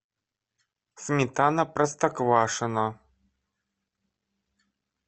сметана простоквашино